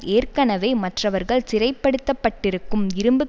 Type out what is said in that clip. ஏற்கனவே மற்றவர்கள் சிறைப்படுத்தப்பட்டிருக்கும் இரும்பு